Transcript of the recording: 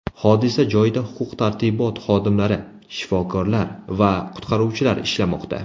Hodisa joyida huquq-tartibot xodimlari, shifokorlar va qutqaruvchilar ishlamoqda.